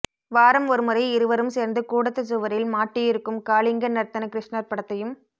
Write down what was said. வாரம் ஒருமுறை இருவரும் சேர்ந்து கூடத்துச் சுவரில் மாட்டி இருக்கும் காளிங்கநர்த்தன க்ருஷ்ணர் படத்தையும்